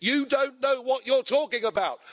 You don't know what you're talking about.